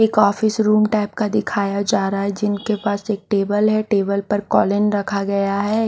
एक office room type का दिखाया जा रहा है जिनके पास एक टेबल है टेबल पर कॉलिन रखा गया है।